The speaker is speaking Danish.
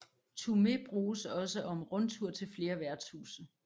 Turné bruges også om rundtur til flere værtshuse